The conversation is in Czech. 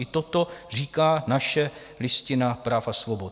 I toto říká naše Listina práv a svobod.